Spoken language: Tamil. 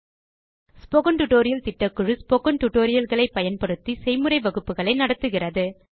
ஸ்போக்கன் டியூட்டோரியல் திட்டக்குழு ஸ்போக்கன் டியூட்டோரியல் களை பயன்படுத்தி செய்முறை வகுப்புகள் நடத்துகிறது